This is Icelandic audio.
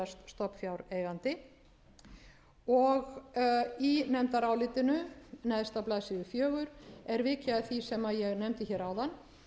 að gerast stofnfjáreigandi í nefndarálitinu neðst á blaðsíðu fjögur er vikið að því sem ég nefndi áðan